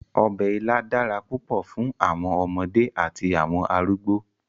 Ọbẹ̀ ilá dára púpọ̀ fún àwọn ọmọdé àti àwọn arúgbọ̀.